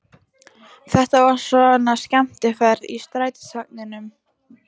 Þetta er svona skemmtiferð í strætisvagninum!